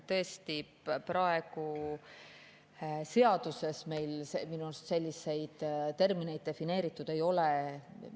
Tõesti, praegu seaduses minu arust selliseid termineid defineeritud ei ole.